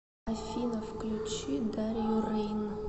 афина включи дарью рэйн